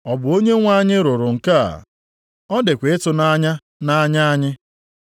Ọ bụ Onyenwe anyị rụrụ nke a, ọ dịkwa ịtụnanya nʼanya anyị’ + 12:11 \+xt Abụ 118:22,23\+xt* ?”